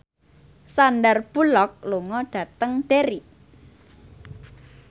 Sandar Bullock lunga dhateng Derry